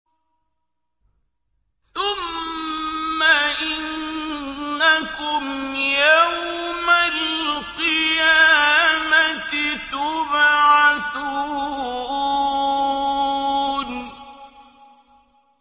ثُمَّ إِنَّكُمْ يَوْمَ الْقِيَامَةِ تُبْعَثُونَ